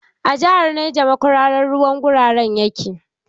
A jihar Neja makwararan ruwan gurara yake.